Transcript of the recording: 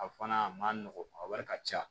A fana a ma nɔgɔn a wari ka ca